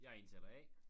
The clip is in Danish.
Jeg er indtaler A